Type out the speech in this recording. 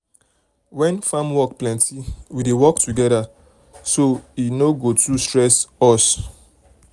when farm work plenty we dey work together so e um no um go too um stress us.